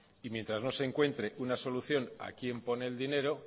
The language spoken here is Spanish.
y mientras no se encuentre una solución a quién pone el dinero